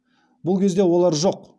бұл кезде олар жоқ